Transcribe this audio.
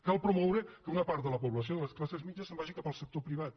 cal promoure que una part de la població de les classes mitjanes se’n vagi cap al sector privat